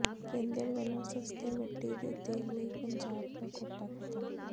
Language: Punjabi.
ਕੇਂਦਰ ਵੱਲੋਂ ਸਸਤੇ ਮਿੱਟੀ ਦੇ ਤੇਲ ਲਈ ਪੰਜਾਬ ਦਾ ਕੋਟਾ ਖ਼ਤਮ